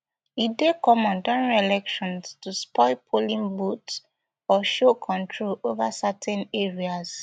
e dey common during elections to spoil polling booths or show control over certain areas